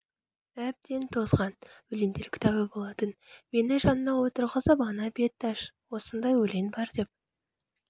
әбден тозған өлеңдер кітабы болатын мені жанына отырғызып ана бетті аш осындай өлең бар деп